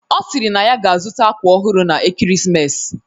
Ọ sịrị na ya ga-azụta akwa ọhụrụ na ekeresimesi